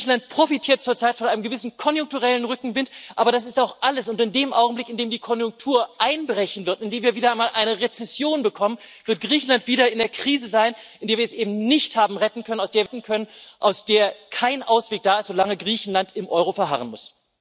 Griechenland profitiert zurzeit von einem gewissen konjunkturellen Rückenwind, aber das ist auch alles! In dem Augenblick, in dem die Konjunktur einbrechen wird, in dem wir wieder mal eine Rezession bekommen, wird Griechenland wieder in der Krise sein, aus der wir es eben nicht haben retten können, aus der kein Ausweg da ist, solange Griechenland im Euro verharren muss.